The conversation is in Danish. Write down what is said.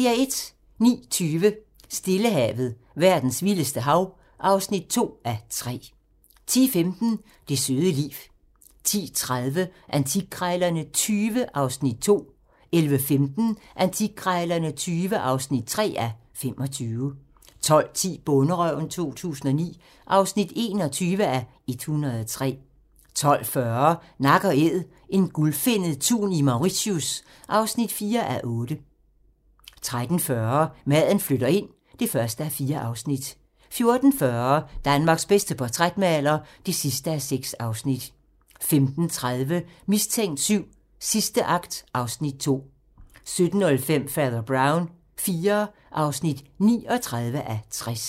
09:20: Stillehavet - verdens vildeste hav (2:3) 10:15: Det søde liv 10:30: Antikkrejlerne XX (2:25) 11:15: Antikkrejlerne XX (3:25) 12:10: Bonderøven 2009 (21:103) 12:40: Nak & Æd - en gulfinnet tun i Mauritius (4:8) 13:40: Maden flytter ind (1:4) 14:40: Danmarks bedste portrætmaler (6:6) 15:30: Mistænkt VII: Sidste akt (Afs. 2) 17:05: Fader Brown IV (39:60)